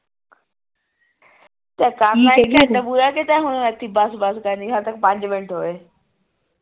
ਕਿਤੇ ਹੁਣ ਇਥੇ ਹੀ ਬਸ ਬਸ ਕਰਨੀ ਹਜੇ ਤੱਕ ਪੰਜ ਮਿੰਟ ਹੋਏ